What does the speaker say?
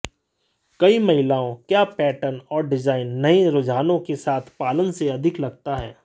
कई महिलाओं क्या पैटर्न और डिजाइन नए रुझानों के साथ पालन से अधिक लगता है